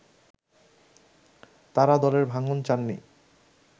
তারা দলের ভাঙন চাননি